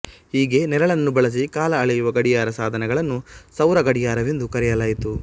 ಹೀಗೆ ನೆರಳನ್ನು ಬಳಸಿ ಕಾಲ ಅಳೆಯುವ ಗಡಿಯಾರ ಸಾಧನಗಳನ್ನು ಸೌರ ಗಡಿಯಾರಎಂದು ಕರೆಯಲಾಯಿತು